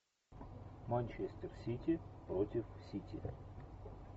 манчестер сити против сити